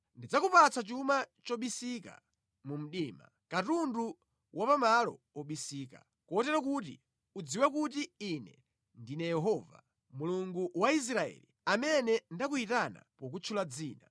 Ndidzakupatsa chuma chobisika mu mdima, katundu wa pamalo obisika, kotero kuti udziwe kuti Ine ndine Yehova Mulungu wa Israeli, amene ndakuyitana pokutchula dzina.